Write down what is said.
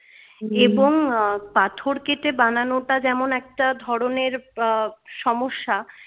এবং পাথর কেটে বানানটা যেমন একটা ধরণের আহ সমস্যা